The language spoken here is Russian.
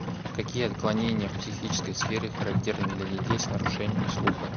какие отклонения в психической сфере характерны для детей с нарушениями слуха